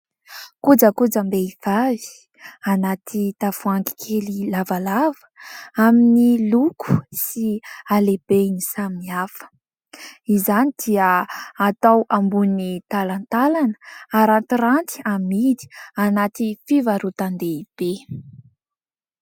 Kojakojam-behivavy anaty tavoahangy kely lavalava, amin'ny loko sy halehibeny samihafa. Izany dia atao ambonin'ny talantalana harantiranty amidy anaty fivarotan-dehibe.